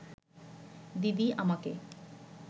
দিদি আমাকে